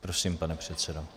Prosím, pane předsedo.